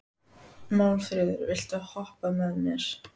Málfríður, viltu hoppa með mér?